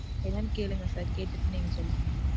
என்னனு கேளுங்க sir. கேட்டு நீங்க சொல்லுங்க.